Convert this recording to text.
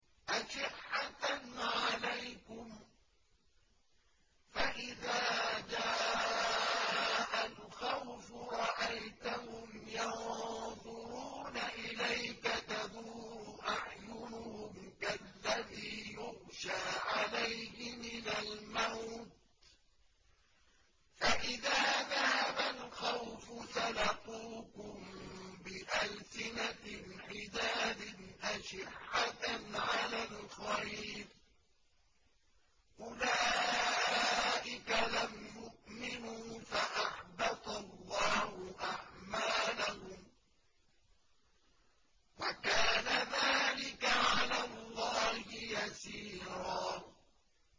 أَشِحَّةً عَلَيْكُمْ ۖ فَإِذَا جَاءَ الْخَوْفُ رَأَيْتَهُمْ يَنظُرُونَ إِلَيْكَ تَدُورُ أَعْيُنُهُمْ كَالَّذِي يُغْشَىٰ عَلَيْهِ مِنَ الْمَوْتِ ۖ فَإِذَا ذَهَبَ الْخَوْفُ سَلَقُوكُم بِأَلْسِنَةٍ حِدَادٍ أَشِحَّةً عَلَى الْخَيْرِ ۚ أُولَٰئِكَ لَمْ يُؤْمِنُوا فَأَحْبَطَ اللَّهُ أَعْمَالَهُمْ ۚ وَكَانَ ذَٰلِكَ عَلَى اللَّهِ يَسِيرًا